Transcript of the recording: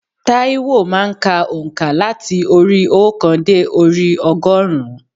Tâíwò má a n ka ònkà láti orí i óòkan dé orí i ọgọ́rùn-ún